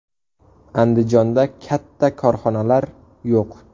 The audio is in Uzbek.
Andijonda katta korxonalar yo‘q.